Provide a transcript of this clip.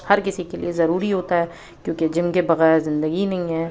हर किसी के लिए जरूरी होता है क्योंकि जिम के बगैर जिंदगी नहीं है।